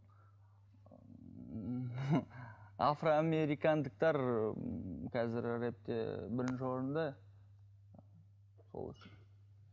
афро американдықтар қазір рэпте бірінші орында сол үшін